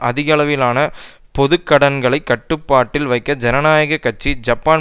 அதிகளவிலான பொதுக்கடன்களைக் கட்டுப்பாட்டில் வைக்க ஜனநாயக கட்சி ஜப்பான்